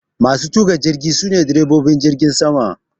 Masu tuka jirgi sune direbobin jirgin sama